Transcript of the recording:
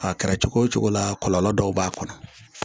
A kɛra cogo o cogo la kɔlɔlɔ dɔw b'a kɔnɔ